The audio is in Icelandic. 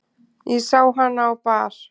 Ég sá hana á bar.